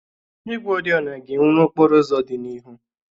Igwe oriọna ga-enwu n'okporo ụzọ dị n'ihu.